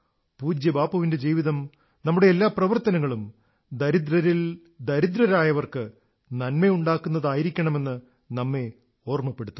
പൂജ്യബാപ്പുവിന്റെ ജീവിതം നമ്മുടെ എല്ലാ പ്രവർത്തനങ്ങളും ദരിദ്രരിൽ ദരിദ്രരായവർക്ക് നന്മയുണ്ടാക്കുന്നതായിരിക്കണമെന്ന് നമ്മെ ഓർമ്മപ്പെടുത്തുന്നു